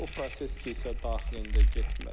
O proses kilsə daxilində getməlidir.